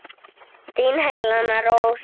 Þín Helena Rós.